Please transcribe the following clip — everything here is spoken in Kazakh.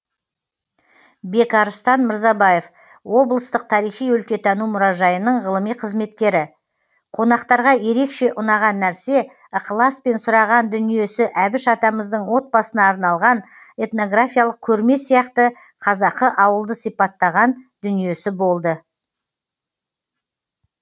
бекарыстан мырзабаев облыстық тарихи өлкетану мұражайының ғылыми қызметкері қонақтарға ерекше ұнаған нәрсе ықыласпен сұраған дүниесі әбіш атамыздың отбасына арналған этнографиялық көрме сияқты қазақы ауылды сипаттаған дүниесі болды